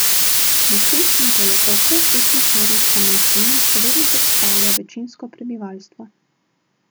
Na Krimskem polotoku etnična ruska manjšina še vedno predstavlja večinsko prebivalstvo.